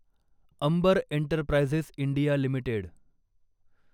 Ambar Enterprises India limited